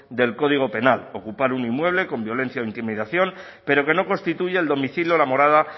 del código penal ocupar un inmueble con violencia o intimidación pero que no constituya el domicilio o la morada